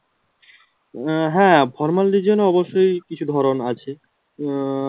হ্যাঁ formal region এ অবশ্যই কিছু ধরণ আছে উম